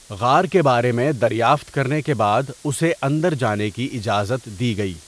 غار کے بارے میں دریافت کرنے کے بعد اسے اندر جانے کی اجازت دی گئی۔